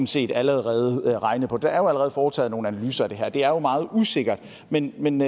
set allerede regnet på det der er allerede foretaget nogle analyser af det her det er jo meget usikkert men men